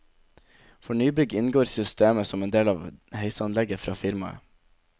For nybygg inngår systemet som en del av heisanlegget fra firmaet.